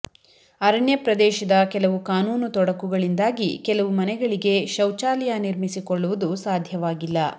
ಅರಣ್ಯ ಪ್ರದೇಶದ ಕೆಲವು ಕಾನೂನು ತೊಡಕುಗಳಿಂದಾಗಿ ಕೆಲವು ಮನೆಗಳಿಗೆ ಶೌಚಾಲಯ ನಿರ್ಮಿಸಿಕೊಳ್ಳುವುದು ಸಾಧ್ಯವಾಗಿಲ್ಲ